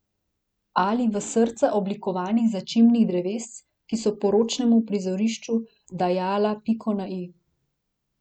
Ali v srca oblikovanih začimbnih drevesc, ki so poročnemu prizorišču dajala piko na i.